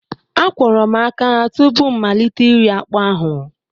Akwọrọ m aka tupu m malite iri akpu ahụ